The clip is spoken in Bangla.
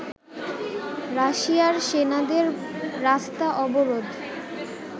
রাশিয়ার সেনাদের রাস্তা অবরোধ